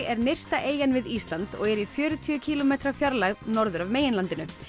er nyrsta eyjan við Ísland og er í fjörutíu kílómetra fjarlægð norður af meginlandinu